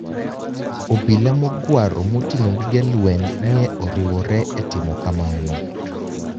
obila mogwaro motinig'o gige lweniy ni e oriwore e timo kamano.